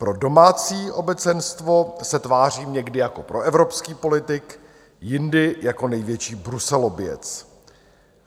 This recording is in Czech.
Pro domácí obecenstvo se tváří někdy jako proevropský politik, jindy jako největší bruselobijec.